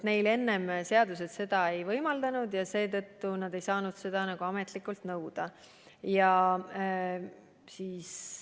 Neil enne seadus seda ei võimaldanud ja seetõttu nad ei saanud seda ametlikult nõuda.